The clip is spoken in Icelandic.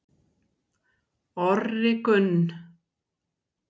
Orri Gunn